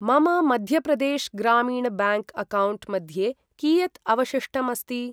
मम मध्यप्रदेश ग्रामीण bank account मध्ये कियत् अवशिष्टम् अस्ति?